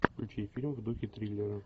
включи фильм в духе триллера